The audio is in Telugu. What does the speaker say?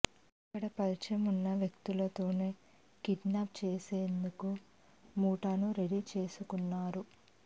అక్కడ పరిచయం ఉన్న వ్యక్తలతోనే కిడ్నాప్ చేసేందుకు ముఠాను రెడీ చేసుకున్నారు